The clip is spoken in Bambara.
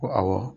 Ko awɔ